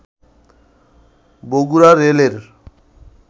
বগুড়া রেলের